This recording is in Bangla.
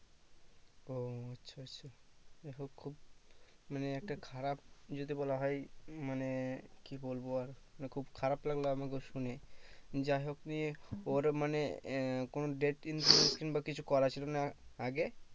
দেখো খুব মানে একটা খারাপ যদি বলা হয় মানে কি বলবো আর মানে খুব খারাপ লাগলো আমাকেও শুনে যাই হোক নিয়ে পর মানে আহ কোনো death insurance কিংবা কিছু করা ছিলো না আগে?